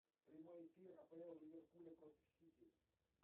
прямой эфир апл ливерпуля против сити